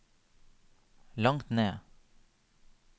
langt ned